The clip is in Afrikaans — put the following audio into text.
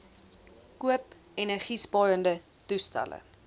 koop energiesparende toestelle